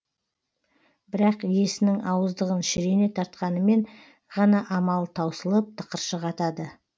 бірақ иесінің ауыздығын шірене тартқанынан ғана амалы таусылып тықыршық атады